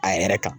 A yɛrɛ kan